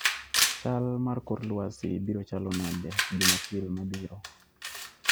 chal mar kor lwasi biro chalo nade Jumapil mabiro